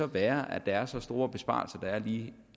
være at der er så store besparelser som der er lige